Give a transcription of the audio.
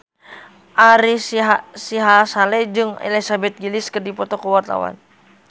Ari Sihasale jeung Elizabeth Gillies keur dipoto ku wartawan